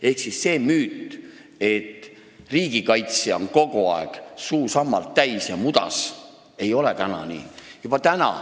Ehk see on müüt, et riigikaitsja on kogu aeg mudas, suu sammalt täis – ei ole enam nii.